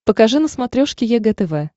покажи на смотрешке егэ тв